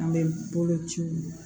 An bɛ bolo ciw